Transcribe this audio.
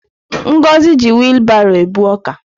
Ngozi ji wilbaro ebu ọka.